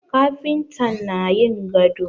Kafintan na yin gado